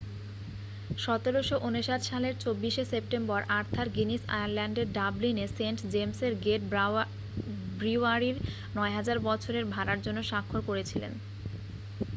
1759 সালের 24 শে September Arthur Guinness আয়ারল্যান্ডের ডাবলিনে সেন্ট জেমসের গেট ব্রিউয়ারির 9,000 বছরের ভাড়ার জন্য স্বাক্ষর করেছিলেন